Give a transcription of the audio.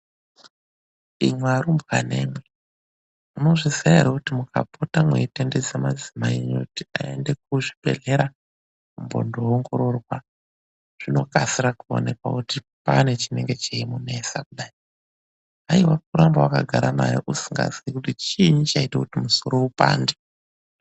Imwi arumbwanemwi, munozviziya ere kuti mukapota mweitendedza madzimai enyu kuti aende kuzvibhedhlera kumbondoongororwa zvinokasira kuonekwe kuti paane chinonga cheimunesa kudai. Haiwa kuramba wakagara naye usikazii kuti chiini chaite kuti musoro upande